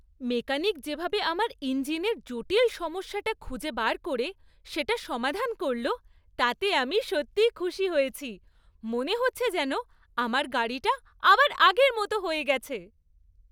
Mechanic যেভাবে আমার ইঞ্জিনের জটিল সমস্যাটা খুঁজে বার করে সেটা সমাধান করল তাতে আমি সত্যিই খুশি হয়েছি; মনে হচ্ছে যেন আমার গাড়িটা আবার আগের মতো হয়ে গেছে।